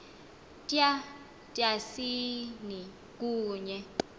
tya tyasini kunye